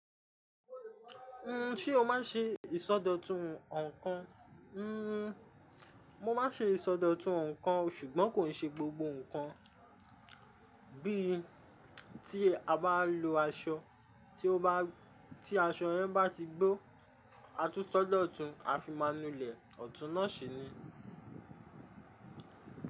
N, ṣé o má ń ṣe ìsọdọ̀tun ǹkan? Mo máa ń ṣe ìsọdọ̀tun ǹkan ṣùgbọ́n kò n ṣe gbogbo ǹkan, bí i tí a bá ń lo aṣọ tí ó bá, tí aṣọ yẹn bá ti gbó, a tún sọ́dọ̀tun a fi máa nulẹ̀, ọ̀tún náà ṣe ni.